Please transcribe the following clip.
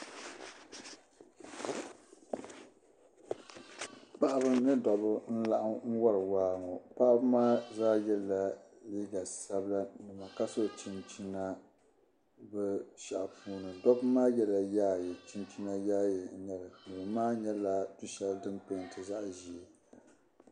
Paɣiba ni dɔbba n-laɣim wari waa ŋɔ. Paɣiba maa zaa yɛla liiga sabila ka so chinchina bɛ shɛhi ni. Dɔbba maa yɛla yaaye chinchina yaaye n-nyɛ li. Duu maa nyɛla du' shɛli dim peenti zaɣ' ʒee.